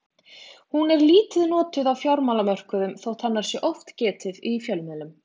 hún er lítið notuð á fjármálamörkuðum þótt hennar sé oft getið í fjölmiðlum